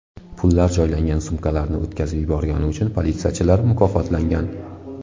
Pullar joylangan sumkalarni o‘tkazib yuborgani uchun politsiyachilar mukofotlangan.